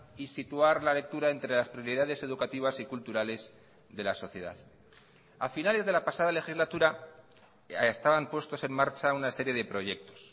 y situar la lectura entre las prioridades educativas y culturales de la sociedad a finales de la pasada legislatura estaban puestos en marcha una serie de proyectos